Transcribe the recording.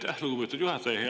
Aitäh, lugupeetud juhataja!